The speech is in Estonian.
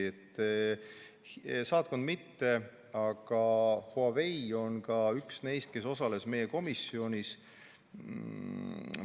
Saatkond, aga Huawei on üks neist, kes osales ka meie komisjoni.